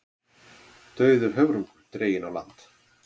Dauður höfrungur dreginn á land